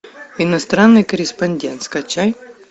иностранный корреспондент скачай